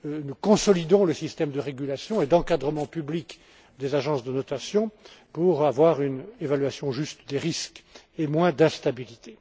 Nous consolidons le système de régulation et d'encadrement public des agences de notation pour avoir une évaluation juste des risques et moins d'instabilité.